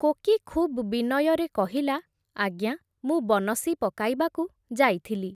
କୋକୀ ଖୁବ୍ ବିନୟରେ କହିଲା, ଆଜ୍ଞା, ମୁଁ ବନଶୀ ପକାଇବାକୁ ଯାଇଥିଲି ।